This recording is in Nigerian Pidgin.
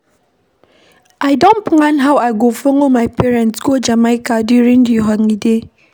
I don plan how I go follow my parents go Jamaica during the holiday